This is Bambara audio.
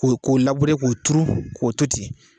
K' o labure k'o turu k'o to ten.